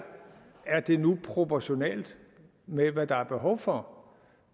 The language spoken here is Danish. er det nu proportionalt med hvad der er behov for